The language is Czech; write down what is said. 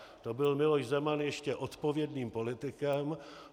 To byl Miloš Zeman ještě odpovědným politikem.